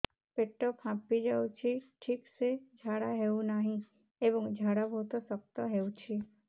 ପେଟ ଫାମ୍ପି ଯାଉଛି ଠିକ ସେ ଝାଡା ହେଉନାହିଁ ଏବଂ ଝାଡା ବହୁତ ଶକ୍ତ ହେଉଛି